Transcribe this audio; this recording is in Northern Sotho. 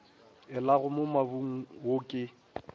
elago mo mobung wo ke